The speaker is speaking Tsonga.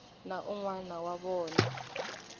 na un wana wa vona